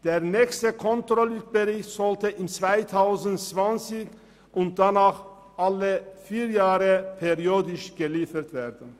Der nächste Controlling-Bericht sollte im Jahr 2020 und danach alle vier Jahre periodisch abgeliefert werden.